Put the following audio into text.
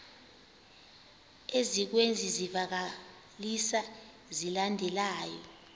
ezikwezi zivakalisi zilandelayo